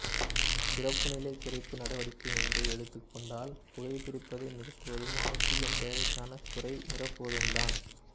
இறப்பு நிலை குறைப்பு நடவடிக்கை என்று எடுத்துகொண்டால் புகை பிடிப்பதை நிறுத்துவதும் ஆக்சிஜன் தேவைக்கான குறை நிரப்புவதும் தான்